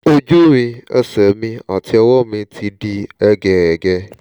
ojú mi ẹsẹ̀ mi àti ọwọ́ mi ti di hẹ́gẹhẹ̀gẹ